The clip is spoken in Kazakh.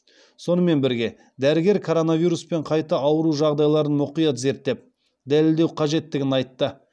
сонымен бірге дәрігер коронавируспен қайта ауыру жағдайларын мұқият зерттеп дәлелдеу қажеттігін айтты